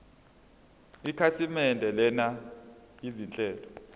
ikhasimende lenza izinhlelo